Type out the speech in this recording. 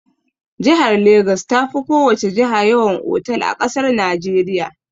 Jihar Legas ta fi ko wace jiha yawan otal a ƙasar Najeriya.